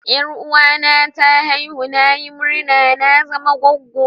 Yaruwa na ta aihu, na yi murma na zama gwaggo.